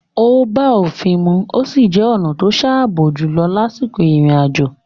Ó bá òfin mu ó sì jẹ́ ọ̀na to sààbò jùlọ lásìkò ìrìn àjò.